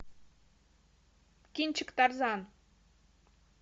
кинчик тарзан